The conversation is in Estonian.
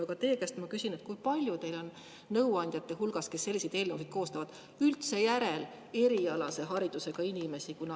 Aga teie käest ma küsin, kui palju teil on nõuandjate hulgas, kes selliseid eelnõusid koostavad, üldse järel erialase haridusega inimesi.